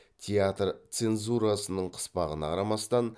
театр цензурасының қыспағына қарамастан